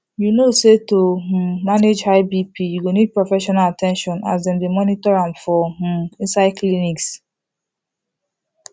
you no say to um manage high bp you go need professional at ten tion as dem dey monitor am for um inside clinics